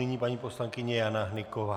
Nyní paní poslankyně Jana Hnyková.